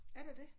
Er der det?